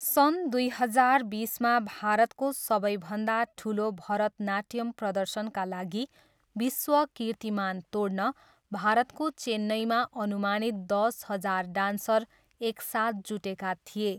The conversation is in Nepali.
सन् दुई हजार बिसमा भारतको सबैभन्दा ठुलो भरतनाट्यम् प्रदर्शनका लागि विश्व कीर्तिमान तोड्न भारतको चेन्नईमा अनुमानित दस हजार डान्सर एकसाथ जुटेका थिए।